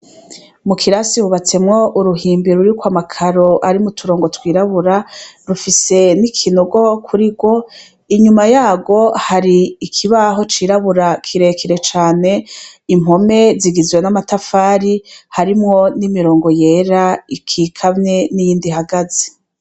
Mukirase hubatsemwo uruhimbi rurikwama karo arimwuturongo twirabura , rufise n’ikinogo kurigwo, inyuma yagwo hari ikibaho cirabura, kirekire cane, impome zigizwe n’amatafari harimwo n’imirongo yera ,ikikamye n’iyind’ihagaze.